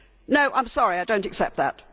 No, I am sorry, I do not accept that.